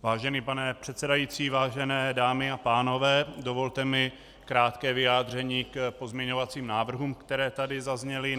Vážený pane předsedající, vážené dámy a pánové, dovolte mi krátké vyjádření k pozměňovacím návrhům, které tady zazněly.